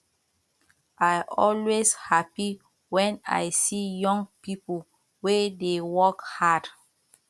i always happy wen i see young people wey dey work hard